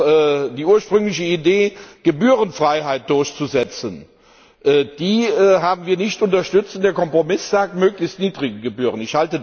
Auch die ursprüngliche Idee, Gebührenfreiheit durchzusetzen, haben wir nicht unterstützt, und der Kompromiss sagt möglichst niedrige Gebühren.